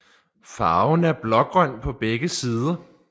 Farven er blågrøn på begge sider